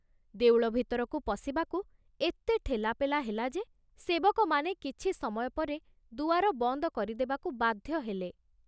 ଦେଉଳ ଭିତରକୁ ପଶିବାକୁ ଏତେ ଠେଲାପେଲା ହେଲା ଯେ ସେବକମାନେ କିଛି ସମୟ ପରେ ଦୁଆର ବନ୍ଦ କରିଦେବାକୁ ବାଧ୍ୟ ହେଲେ।